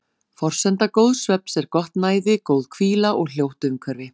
Forsenda góðs svefns er gott næði, góð hvíla og hljótt umhverfi.